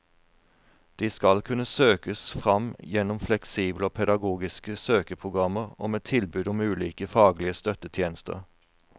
De skal kunne søkes fram gjennom fleksible og pedagogiske søkeprogrammer og med tilbud om ulike faglige støttetjenester.